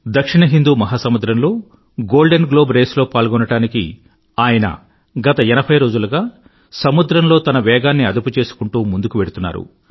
దక్షిణ హిందూ మహా సముద్రంలో గోల్డెన్ గ్లోబ్ Raceలో పాల్గోవడానికి ఆయన గత ఎనభై రోజులుగా సముద్రంలో తన వేగాన్ని అదుపుకుంటూ ముందుకు వెళ్తున్నారు